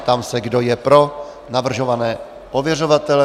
Ptám se, kdo je pro navrhované ověřovatele.